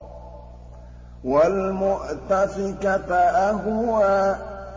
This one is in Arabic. وَالْمُؤْتَفِكَةَ أَهْوَىٰ